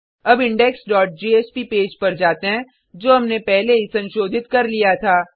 अब index dot JSP page पर जाते हैं जो हमने पहले ही संशोधित कर लिया था